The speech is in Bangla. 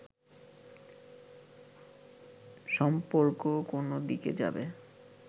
সম্পর্ক কোন দিকে যাবে